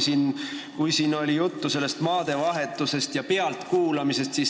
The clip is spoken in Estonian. Siin oli juttu maadevahetusest ja pealtkuulamisest.